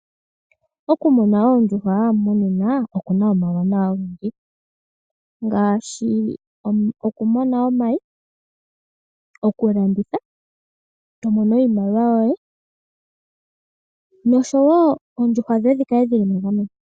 Oku muna oondjuhwa monena okuna wo omauwanawa ogendji ngaashi oku mona omayi, oku landitha to mono iimaliwa yoye noshowo oondjuhwa dhoye dhi kale dhili megameno.